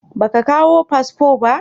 Ba ka kawo fasfo ba?